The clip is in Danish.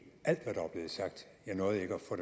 alt